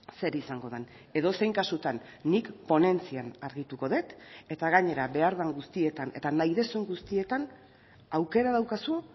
zer izango den edozein kasutan nik ponentzian argituko dut eta gainera behar den guztietan eta nahi duzun guztietan aukera daukazu